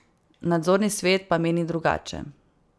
Nadzorni svet pa meni drugače.